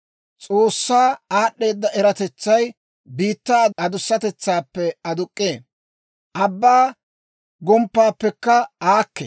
S'oossaa aad'd'eeda eratetsay biittaa adusatetsaappe aduk'k'ee; abbaa gomppaappekka aakkee.